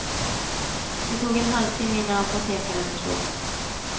Det tog en halvtimme innan apotekaren förstod.